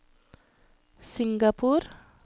Singapore